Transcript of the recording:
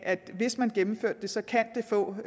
at hvis man gennemfører det så kan det få